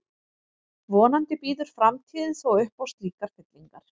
Vonandi býður framtíðin þó upp á slíkar fyllingar.